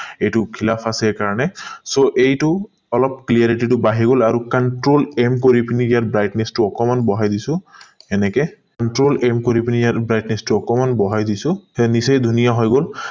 এইটো file up আছে কাৰণে so এইটো অলপ clarity টো বাহি গল আৰু control m কৰি পিনি ইয়াত brightness টো অকণমান বহাই দিছো এনেকে control m কৰি পিনি ইয়াত brightness টো অকণমান বহাই দিছো নিশ্চয় ধুনীয়া হৈ গল